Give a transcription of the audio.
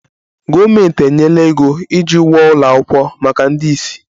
Gọọmenti enyela ego iji wuo ụlọ akwụkwọ maka ndị ìsì